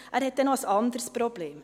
Dieser hat noch ein anderes Problem.